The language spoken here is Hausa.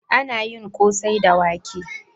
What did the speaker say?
Ana yin ƙosai da wake.